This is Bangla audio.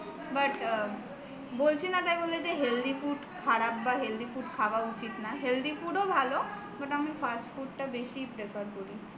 but বলছি না তাই বলে যে healthy food খারাপ বা healthy food খাওয়া উচিত না healthy food ও ভালো কিন্তু আমি fast food টা বেশি prefer করি